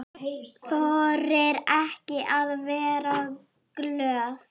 Þorir ekki að vera glöð.